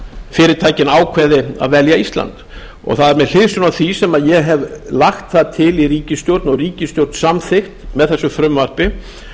fyrirtækin ákveði að velja ísland það er með hliðsjón af því sem ég hef lagt það til í ríkisstjórn og ríkisstjórn samþykkt með þessu frumvarpi